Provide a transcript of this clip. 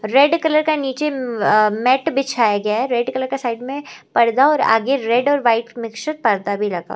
red colour का नीचे में अ मेट बिछाया गया है रेड कलर का साइड में पर्दा और आगे रेड और व्हाइट मिक्स पर्दा भी लगा --